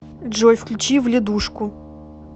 джой включи вледушку